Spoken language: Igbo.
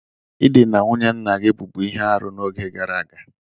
I dịna nwunye nna-gi bubu ihe-árú n'oge gara aga.